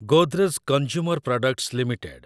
Godrej consumer products limited